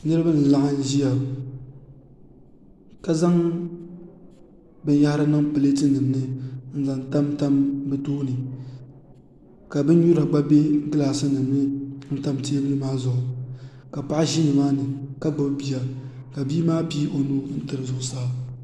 niriba n-laɣim ʒia ka zaŋ bin'yɛhiri niŋ pleetinima ni n-zaŋ tamtam bɛ tooni ka bin'nyura gba be glaasinima ni n-tam teebuli maa zuɣu ka paɣa ʒi nimaani ka gbubi bia ka maa pii o nuu n-tiri zuɣusaa